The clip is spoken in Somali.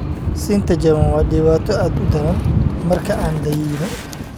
Sinta jaban waa dhibaato aad u daran marka aan da'eyno.